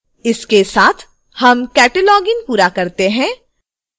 इसके साथ हम cataloging पूरा करते हैं